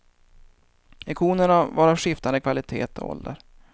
Ikonerna var av skiftande kvalitet och ålder.